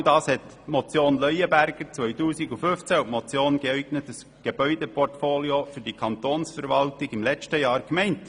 Genau das hatten die Motion Leuenberger 2015 und die Motion «Geeignetes Gebäudeportfolio für die Kantonsverwaltung» im letzten Jahr gemeint.